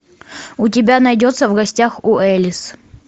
у тебя найдется в гостях у элис